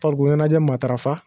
Farikolo ɲɛnajɛ matarafa